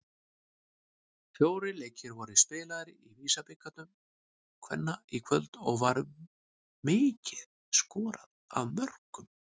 Fjórir leikir voru spilaðir í VISA-bikar kvenna í kvöld og var mikið skorað af mörkum.